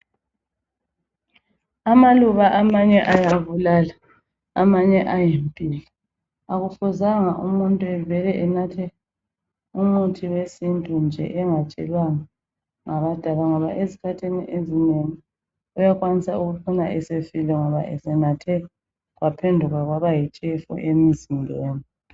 Amaluba amanye ayabulala amanye ayimpilo akufuzanga umuntu evele enathe umuthi wesintu nje engatshelwanga nga abadala ngoba ezikhathini ezinengi uyakwanisa ukuphuma esefile esenathe kwaphenduka kwaba yitshefu emzimbeni.